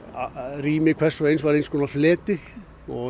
rými hvers og eins var eins konar fleti og